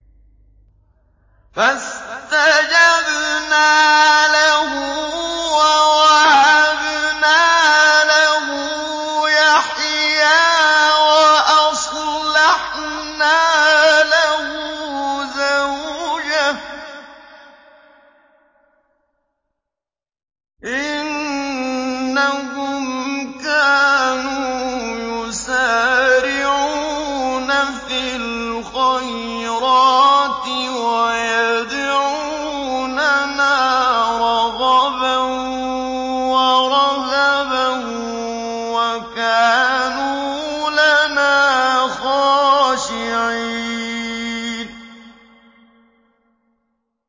فَاسْتَجَبْنَا لَهُ وَوَهَبْنَا لَهُ يَحْيَىٰ وَأَصْلَحْنَا لَهُ زَوْجَهُ ۚ إِنَّهُمْ كَانُوا يُسَارِعُونَ فِي الْخَيْرَاتِ وَيَدْعُونَنَا رَغَبًا وَرَهَبًا ۖ وَكَانُوا لَنَا خَاشِعِينَ